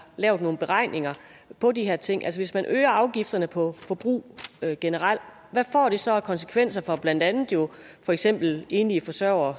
lavet nogle beregninger på de her ting altså hvis man øger afgifterne på forbrug generelt hvad får det så af konsekvenser for blandt andet jo for eksempel enlige forsørgere